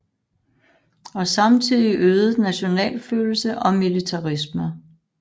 Og samtidig øget nationalfølelse og militarisme